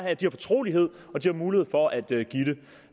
at de har fortrolighed og at de har mulighed for at